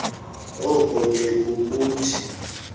oko ke kukuthi